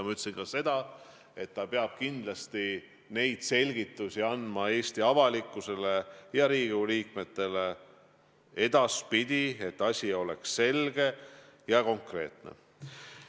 Ma ütlesin ka seda, et ta peab kindlasti Eesti avalikkusele ja Riigikogu liikmetele edaspidi selgitusi andma, et asi oleks selge ja konkreetne.